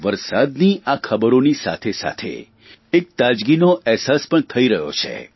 વરસાદના આ ખબરોની સાથેસાથે એક તાજગીનો અહેસાસ પણ થઇ રહ્યો છે